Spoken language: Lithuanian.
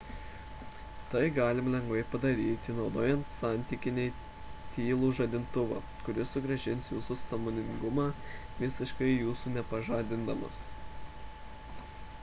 tai galima lengvai padaryti naudojant santykinai tylų žadintuvą kuris sugrąžins jūsų sąmoningumą visiškai jūsų nepažadindamas